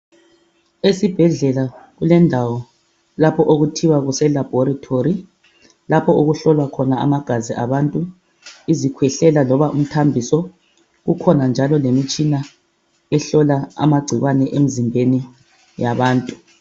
Esibhedlela kulendawo lapho okuthiwa kuse laboratory lapho okuhlolwa khona amagazi abantu izikhwehlela loba imithambiso kukhona njalo lemitshina ehlola amagcikwane emzimbeni yabantu.